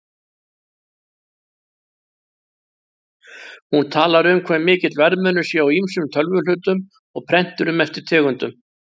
Hún talar um hve mikill verðmunur sé á ýmsum tölvuhlutum og prenturum eftir tegundum.